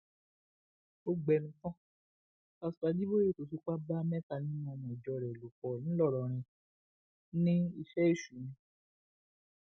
ó gbẹnu tán pásítọ ajíbòye tó fipá bá mẹta nínú ọmọ ìjọ rẹ lò pọ ńlọrọrìn ní iṣẹ èṣù ni